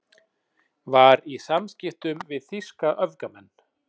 Var í samskiptum við þýska öfgamenn